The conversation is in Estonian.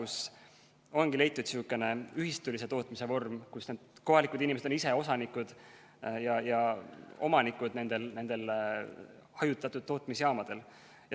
Seal ongi leitud selline ühistulise tootmise vorm, kus need kohalikud inimesed on ise nende hajutatud tootmisjaamade osanikud ja omanikud.